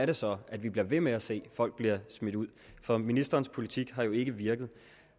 det så er at vi bliver ved med at se folk bliver smidt ud for ministerens politik har jo ikke virket